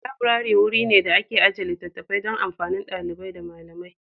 Laburare wuri ne da ake ajiye littattafai don amfanin ɗalibai da malamai.